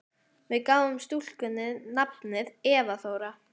Við gáfum stúlkunni nafnið Eva Þóra.